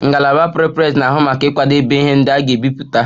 Ngalaba Prepress na-ahụ maka ịkwadebe ihe ndị a ga-ebipụta